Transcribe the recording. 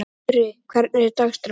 Sturri, hvernig er dagskráin?